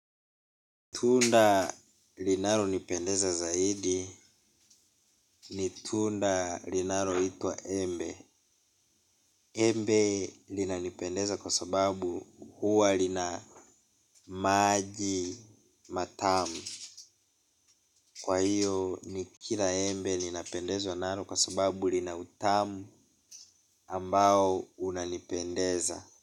Tunda linalonipendeza zaidi ni tunda linaloitwa embe. Embe linanipendeza kwa sababu huwa lina maji matamu. Kwa hiyo nikila embe ninapendezwa nalo kwa sababu lina utamu ambao unanipendeza.